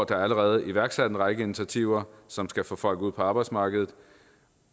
der allerede iværksat en række initiativer som skal få folk ud på arbejdsmarkedet